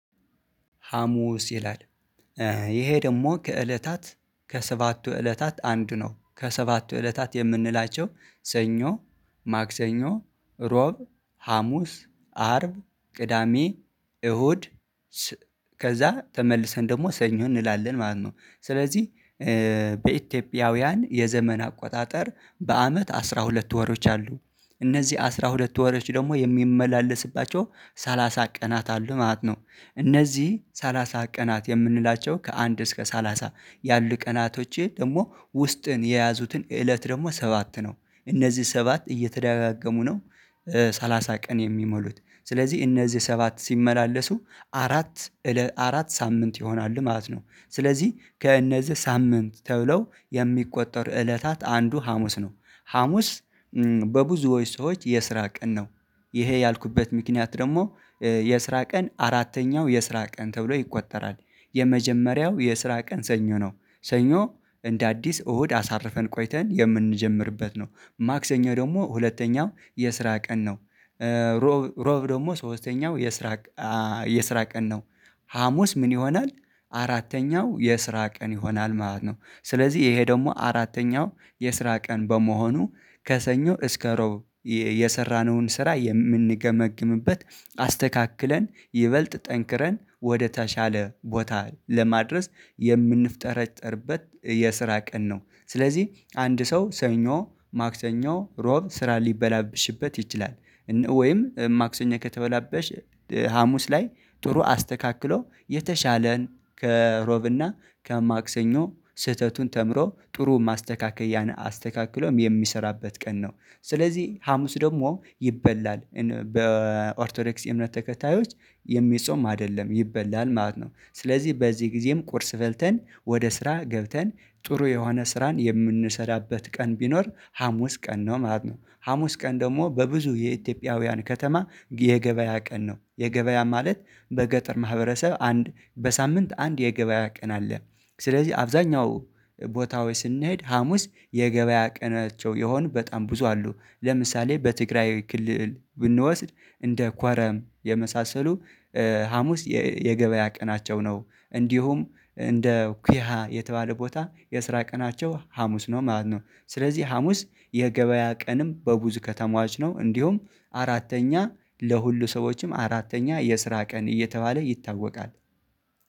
ሀሙስ ይላል። ይሄ ደግሞ ከእለታት ከሰባቱ እለታት አንድ ነው ከሰባቱ እለታት የምንላቸው ሰኞ ማክሰኞ እሮብ ሀሙስ አርብ ቅዳሜ እሁድ። ከዛ ተመልሰን ደግሞ ሰኞ እንላለን ማለት ነው። ስለዚህ በኢትዮጵያውያን የዘመን አቆጣጠር በአመት አስራ ሁለት ወሮች አሉ። እነዚህ አስራ ሁለት ወሮች ደግሞ የሚመላለስባቸው ሰላሳ ቀናት አሉ ማለት ነው። እነዚህ ሰላሳ ቀናት የምንላቸው ከአንድ እስከ ሰላሳ ያሉ ቀናቶች ደግሞ ውስጥን የያዙትን እለት ደግሞ ሰባት ነው። እነዚህ ሰባት እየተደጋገሙ ነው። ሰላሳ ቀን የሚሞሉት ስለዚህ እነዚህ ሰባት ሲመላለሱ አራት አራት ሳምንት ይሆናል ማለት ነው። ስለዚህ ከእነዚህ ሳምንት ተብለው የሚቆጠሩ እለታት አንዱ ሀሙስ ነው። ሀሙስ በብዙዎች ሰዎች የስራ ቀን ነው። ይሄ ያልኩበት ምክንያት ደግሞ የስራ ቀን አራተኛው የስራ ቀን ተብሎ ይቆጠራል። የመጀመሪያው የስራ ቀን ሰኞ ነው። ሰኞ እንደ አዲስ እሁድ አሳርፈን ቆይተን የምንጀምርበት ነው ማክሰኞ ደግሞ ሁለተኛው የስራ ቀን ነው። እሮብ እሮብ ደግሞ ሶስተኛው የስራ የስራ ቀን ነው። ሀሙስ ምን ይሆናል? አራተኛው የስራ ቀን ይሆናል ማለት ነው። ስለዚህ ይሄ ደግሞ አራተኛው የስራ ቀን በመሆኑ ከሰኞ እስከ እሮብ የሰራነውን ስራ የምንገመግምበት አስተካክለን ይበልጥ ጠንክረን ወደተሻለ ቦታ ለማድረስ የምንፍጠረጠርበት የስራ ቀን ነው። ስለዚህ አንድ ሰው ሰኞ ማክሰኞ እሮብ ስራ ሊበላብሽበት ይችላል። ወይም ማክሰኞ ከተበላበሽ ሀሙስ ላይ ጥሩ አስተካክሎ የተሻለን ከዕሮብና ከማክሰኞ ስህተቱን ተምሮ ጥሩ ማስተካከያን አስተካክሎም የሚሰራበት ቀን ነው። ስለዚህ ሀሙስ ደግሞ ይበላል በኦርቶዶክስ እምነት ተከታዮች የሚጾም አይደለም ይበላል ማለት ነው። ስለዚህ በዚህ ጊዜም ቁርስ በልተን ወደ ስራ ገብተን ጥሩ የሆነ ስራን የምንሰራበት ቀን ቢኖር ሀሙስ ቀን ነው ማለት ነው። ሀሙስ ቀን ደግሞ በብዙ የኢትዮጵያውያን ከተማ የገበያ ቀን ነው የገበያ ማለት በገጠር ማህበረሰብ አንድ በሳምንት አንድ የገበያ ቀን አለ። ስለዚህ አብዛኛው ቦታዎች ስንሄድ ሀሙስ የገበያ ቀናቸው የሆኑ በጣም ብዙ አሉ። ለምሳሌ በትግራይ ክልል ብንወስድ እንደ ኳረም የመሳሰሉ ሀሙስ የገበያ ቀናቸው ነው። እንዲሁም እንደ ኩያ የተባለ ቦታ የስራ ቀናቸው ሀሙስ ነው ማለት ነው። ስለዚህ ሀሙስ የገበያ ቀንም በብዙ ከተማዋች ነው። እንዲሁም አራተኛ ለሁሉ ሰዎችም አራተኛ የስራ ቀን እየተባለ ይታወቃል።